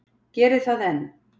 Gerir það enn.